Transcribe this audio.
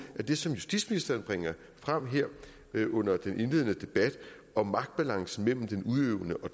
er det som justitsministeren bringer frem her under den indledende debat om magtbalancen mellem den udøvende og